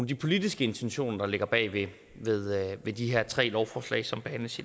de politiske intentioner der ligger bag de tre lovforslag som behandles